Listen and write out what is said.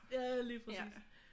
Ja lige præcis